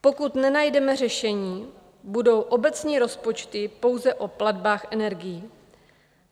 Pokud nenajdeme řešení, budou obecní rozpočty pouze o platbách energií.